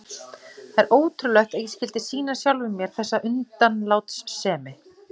Það er ótrúlegt að ég skyldi sýna sjálfum mér þessa undanlátssemi.